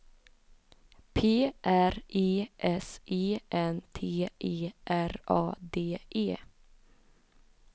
P R E S E N T E R A D E